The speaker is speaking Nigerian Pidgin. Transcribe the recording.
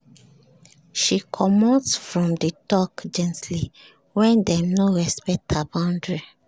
she comot from the talk gently when dem no respect her boundary